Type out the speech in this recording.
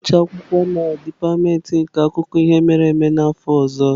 Ị ga-agụcha akwụkwọ na dipatịmentị nke akụkọ ihe mere eme n'afọ ọzọ?